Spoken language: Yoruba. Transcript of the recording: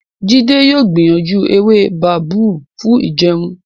Jide yóò gbìyànjú ewé babú fún ìjẹun.